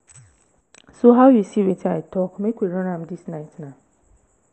so how you see wetin i talk? make we run am dis night naa